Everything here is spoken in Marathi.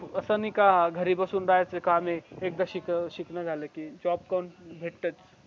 असनाहीका घरी बसून राहायच काम आहे एकदा शिकणं झाला कि जॉब पण भेटतच